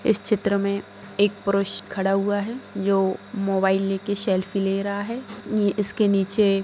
इस चित्र में एक पुरुष खड़ा हुआ है ये मोबाइल लेके सेल्फी ले रहा है नी इसके नीचे --